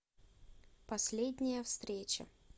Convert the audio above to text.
последняя встреча